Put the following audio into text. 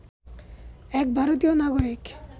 এক ভারতীয় নাগরিক